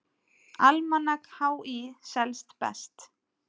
Almanak HÍ selst best